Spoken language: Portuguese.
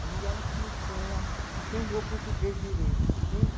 Ali ela começou a aprender o português direito, entende?